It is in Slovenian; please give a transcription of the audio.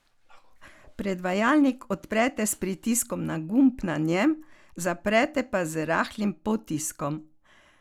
Predvajalnik odprete s pritiskom na gumb na njem, zaprete pa z rahlim potiskom.